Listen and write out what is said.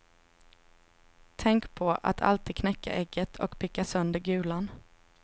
Tänk på att alltid knäcka ägget och picka sönder gulan.